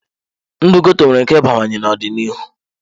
Ndụ ghetto nwere ike ịbawanye n'ọdịnihu.